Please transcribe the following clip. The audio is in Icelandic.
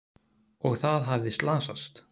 Og það hafði slasast!